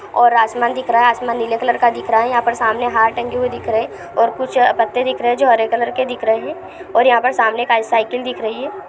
और आसमान दिख रहा है। आसमान नीले कलर का दिख रहा है। यहाँ पर सामने हार टंगे हुए दिख रहे हैंऔर कुछ पत्ते दिख रहे हैं जो हरे कलर के दिख रहे हैं और यहाँ पर सामने एक साइकिल दिख रही है। ।